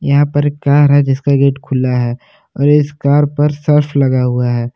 यहां पर एक कार है जिसका गेट खुला है और इस कार पर सर्फ लगा हुआ है।